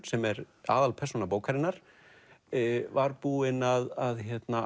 sem er aðalpersóna bókarinnar var búin að